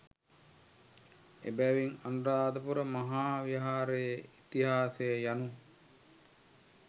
එබැවින් අනුරාධපුර මහා විහාරයේ ඉතිහාසය යනු